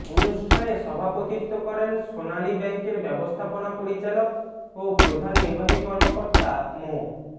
অনুষ্ঠানে সভাপতিত্ব করেন সোনালী ব্যাংকের ব্যবস্থাপনা পরিচালক ও প্রধান নির্বাহী কর্মকর্তা মো